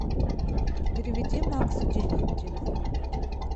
переведи максу деньги на телефон